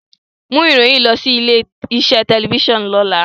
Mu iroyin yii lọ si ile-iṣe tẹlifisiọnu lọla!